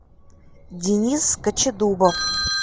денис кочедубов